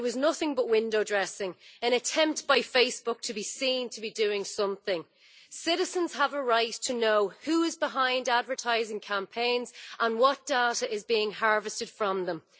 It was nothing but window dressing, an attempt by Facebook to be seen to be doing something. Citizens have a right to know who is behind advertising campaigns and what data is being harvested from them.